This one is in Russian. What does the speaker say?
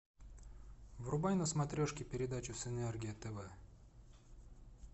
врубай на смотрешке передачу синергия тв